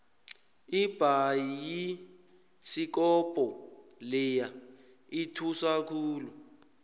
ibhayisikobho leya ithusa khulu